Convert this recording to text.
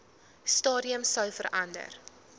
stadium sou verander